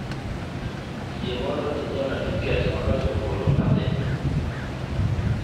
Yie mondo inyiewna tiket ma gach okolomondo adhi